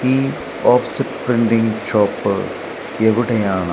ഈ offset printing shop എവിടെയാണ്.